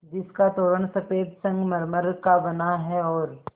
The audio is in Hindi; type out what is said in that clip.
जिसका तोरण सफ़ेद संगमरमर का बना है और